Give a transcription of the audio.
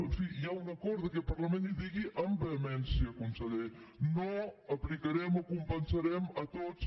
en fi hi ha un acord d’aquest parlament i digui amb vehemència conseller no aplicarem o compensarem a tots